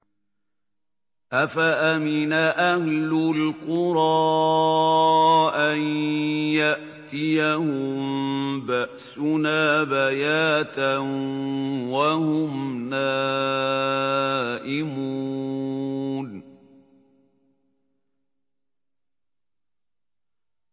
أَفَأَمِنَ أَهْلُ الْقُرَىٰ أَن يَأْتِيَهُم بَأْسُنَا بَيَاتًا وَهُمْ نَائِمُونَ